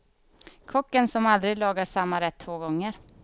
Kocken som aldrig lagar samma rätt två gånger.